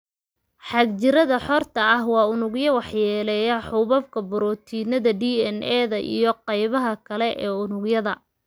Xagjirrada xorta ah waa unugyo waxyeelleeya xuubabka, borotiinada, DNA-da, iyo qaybaha kale ee unugga.